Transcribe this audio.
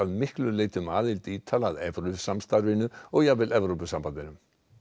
miklu leyti um aðild Ítala að evrusamstarfinu og jafnvel Evrópusambandinu